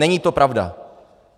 Není to pravda.